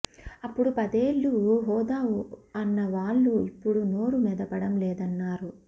అప్పుడు పదేళ్లు హోదా అన్న వాళ్లు ఇఫ్పుడు నోరు మెదపడం లేదన్నారు